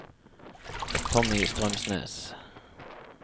Tommy Strømsnes